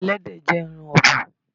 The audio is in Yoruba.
Ẹlẹ́dẹ̀ jẹ́ ẹran ọ̀bùn.